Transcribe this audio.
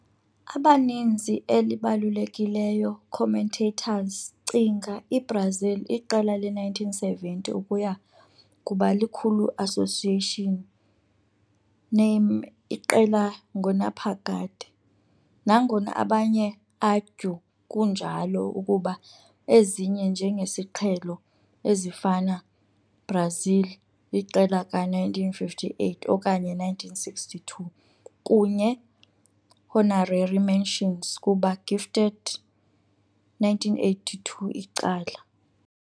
Abaninzi elibalulekileyo commentators cinga i-Brazil iqela le 1970 ukuya kuba likhulu association name iqela ngonaphakade, nangona abanye argue kunjalo kuba ezinye njengesiqhelo, ezifana Brazil iqela ka-1958 okanye 1962, kunye honorary mentions kuba gifted 1982 icala.